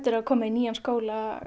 að koma í nýjan skóla